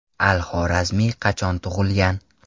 Al-Xorazmiy qachon tug‘ilgan?